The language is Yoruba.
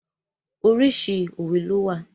Oríṣiríṣi òwe ló wà.